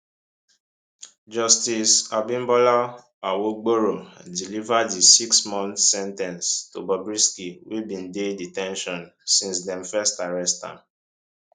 justice abimbola awogboro deliver di sixmonth sen ten ce to bobrisky wey bin dey de ten tion since dem first arrest am